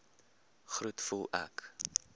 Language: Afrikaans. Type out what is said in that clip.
groet voel ek